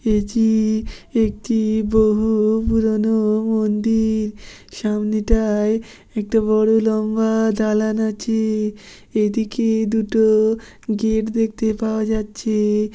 এতি-ই একটি বহু-উ পুরানো-ও মন্দি-ইর। সামনেটায় একটা বড় লম্বা-আ জালান আছে। এদিকে দুটো-ও গেট দেখতে পাওয়া যাচ্ছে।